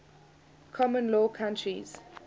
common law countries